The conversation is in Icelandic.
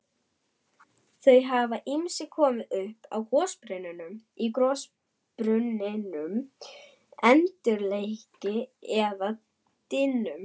Þau hafa ýmist komið upp í gossprungum, eldkeilum eða dyngjum.